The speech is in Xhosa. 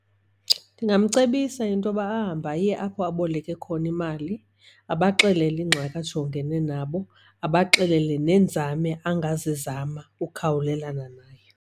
Ndingamcebisa into yoba ahambe aye apho aboleke khona imali abaxelele ingxaki ajongene nabo, abaxelele neenzame angazizama ukukhawulelana nayo.